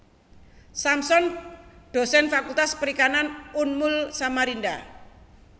Samson Dosen Fakultas Perikanan Unmul Samarinda